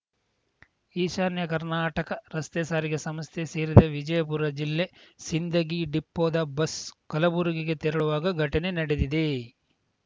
ಈಶಾನ್ಯ ಕರ್ನಾಟಕ ರಸ್ತೆ ಸಾರಿಗೆ ಸಂಸ್ಥೆ ಸೇರಿದ ವಿಜಯಪುರ ಜಿಲ್ಲೆ ಸಿಂದಗಿ ಡಿಪೋದ ಬಸ್‌ ಕಲಬುರಗಿಗೆ ತೆರಳುವಾಗ ಘಟನೆ ನಡೆದಿದೆ